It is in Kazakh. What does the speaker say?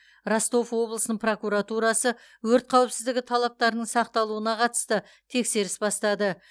ростов облысының прокуратурасы өрт қауіпсіздігі талаптарының сақталуына қатысты тексерісті бастады